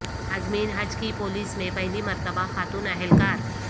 عازمین حج کی پولیس میں پہلی مرتبہ خاتون اہلکار